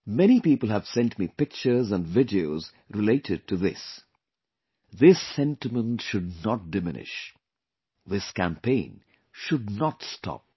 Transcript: Many people have sent me pictures and videos related to this this sentiment should not diminish... this campaign should not stop